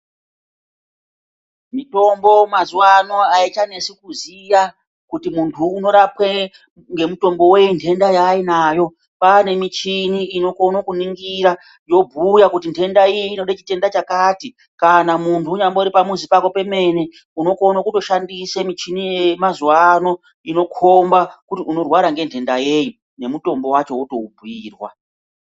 Mitombo yamazuva ano aichanesi kuziva ngekuti muntu unorapwa ngemutombo wendenda yaainayo ngekuti kwane michina inokona kuningira yobhuya kuti ndenda iyi inoda mitombo yakati .kana muntu untari pamuzi pako pemene unokona kutoshandisa michini iyeyo yemazuva ano inokomba kuti unirwara ngedenda yei nemutombo wacho wotoubhuirwa.